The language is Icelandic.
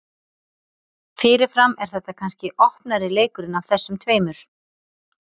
Fyrirfram er þetta kannski opnari leikurinn af þessum tveimur.